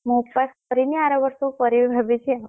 ମୁଁ ଉପାସ କରିନି ଆର ବର୍ଷକୁ କରିବି ଭାବିଛି ଆଉ।